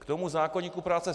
K tomu zákoníku práce.